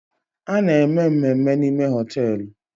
A na-eme mmemme n'ime hoteelu